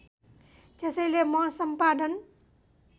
त्यसैले म सम्पादन